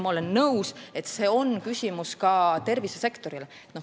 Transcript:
Ma olen nõus, et see on küsimus ka tervisesektorile.